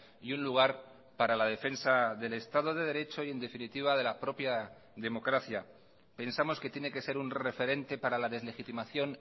y un lugar para la defensa del estado de derecho y en definitiva de la propia democracia pensamos que tiene que ser un referente para la deslegitimación